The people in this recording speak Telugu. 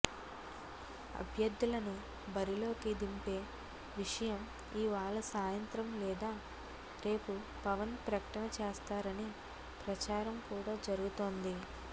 అభ్యర్థులను బరిలోకి దింపే విషయం ఇవాళ సాయంత్రం లేదా రేపు పవన్ ప్రకటన చేస్తారని ప్రచారం కూడా జరుగుతోంది